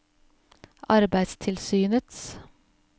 arbeidstilsynets